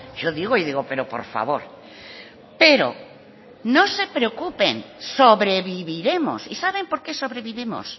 yo digo y digo pero por favor pero no se preocupen sobreviviremos y saben por qué sobrevivimos